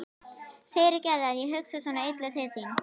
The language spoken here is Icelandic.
Fyrirgefðu að ég hugsa svona illa til þín.